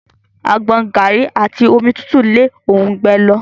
Àgbọn, garri àti omi tútù n le orungbẹ lọ.